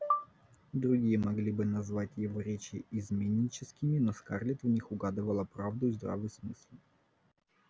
другие могли бы назвать его речи изменническими но скарлетт в них угадывала правду и здравый смысл